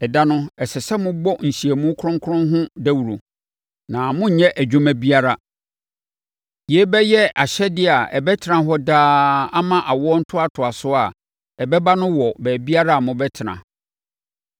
Ɛda no, ɛsɛ sɛ mobɔ nhyiamu kronkron ho dawuro, na monnyɛ adwuma biara. Yei bɛyɛ ahyɛdeɛ a ɛbɛtena hɔ daa ama awoɔ ntoatoasoɔ a ɛbɛba no wɔ baabiara a mobɛtena.